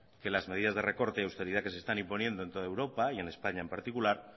que las medidas de recorte y usted dirá que se están imponiendo en todo europa y en españa en particular